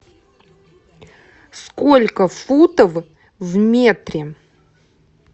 сколько футов в метре